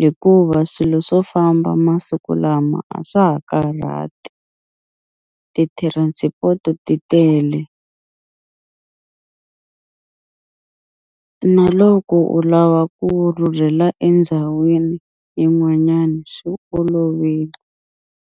hikuva swilo swo famba masiku lama a swa ha karhati ti-transport-i ti tele na loko u lava ku rhurhela endhawini yin'wanyani swi olovile.